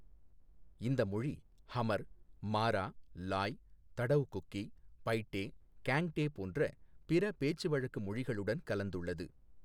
இந்த மொழி ஹமர், மாரா, லாய், தடௌ குக்கி, பைட்டே, கேங்டே போன்ற பிற பேச்சுவழக்கு மொழிகளுடன் கலந்துள்ளது.